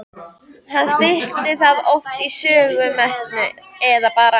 Hann stytti það oft í Sögusmettu eða bara